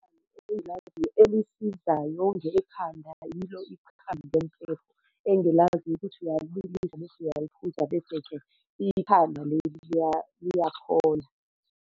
Ikhambi engilaziyo elisizayo nge khanda yilo ikhambi lempepho engilaziyo ukuthi uyalibilisa bese uyayiphuza, bese-ke ikhanda leli liyaphola.